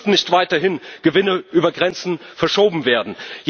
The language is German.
Es dürfen nicht weiterhin Gewinne über Grenzen verschoben werden.